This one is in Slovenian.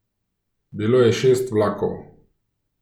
Bilo je šest vlakov.